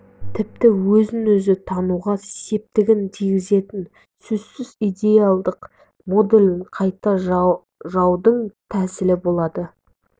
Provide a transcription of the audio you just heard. тіпті өзін-өзі тануға септігін тигізетіні сөзсіз идеалдық моделін қайта жааудың тәсілі болады